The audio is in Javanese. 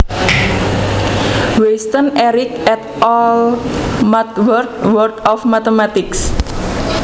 Weisstein Eric et al MathWorld World of Mathematics